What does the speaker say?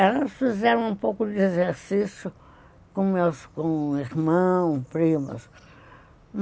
Elas fizeram um pouco de exercício com meus irmãos, primas.